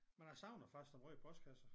Men jeg savner faktisk den røde postkasse